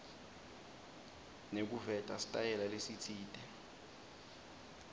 nekuveta sitayela lesitsite